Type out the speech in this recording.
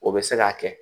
O bɛ se k'a kɛ